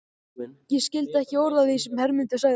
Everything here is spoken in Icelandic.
Ég skildi ekki orð af því sem Hermundur sagði.